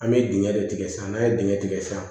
An bɛ dingɛ de tigɛ sisan n'a ye dingɛ tigɛ sisan